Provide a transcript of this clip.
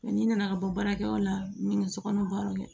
n'i nana ka bɔ baarakɛyɔrɔ la ni n ka sokɔnɔ baaraw kɛ